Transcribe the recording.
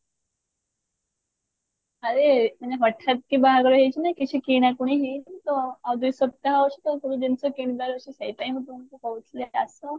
ଆରେ ମାନେ ହଠାତ କି ବାହାଘର ହେଇଛି ନା କିଛି କିଣାକିଣି ହେଇନି ତ ଆଉ ଦୁଇ ସପ୍ତାହ ଅଛି ତ ସବୁ ଜିନିଷ କିଣିଲା ତ ସେଇ time ରେ ହିଁ ତମକୁ କହୁଥିଲି ଆସ